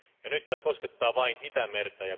Nyt tämä koskettaa vain Itämerta.